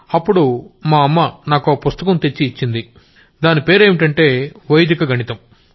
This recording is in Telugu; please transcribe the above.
అప్పుడు మా అమ్మ నాకో పుస్తకం తెచ్చిచ్చింది దాని పేరేంటంటే వైదిక గణితం